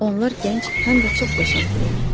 Onlar gənc, həm də çox qəşəngdirlər.